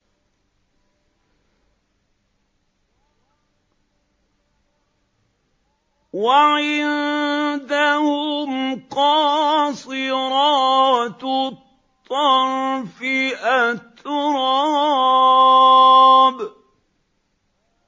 ۞ وَعِندَهُمْ قَاصِرَاتُ الطَّرْفِ أَتْرَابٌ